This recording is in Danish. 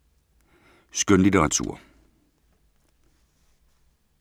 Skønlitteratur